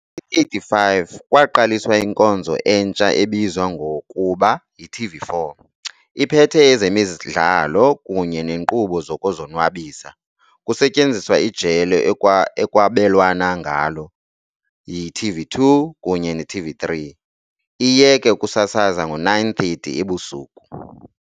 1985, kwaqaliswa inkonzo entsha ebizwa ngokuba yi-TV4, iphethe ezemidlalo kunye neenkqubo zokuzonwabisa, kusetyenziswa ijelo ekwabelwana ngalo yi-TV2 kunye ne-TV3, iyeke ukusasaza ngo-9:30 ebusuku.